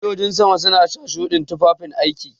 Sojojin sama suna sa shuɗin tufafin aiki.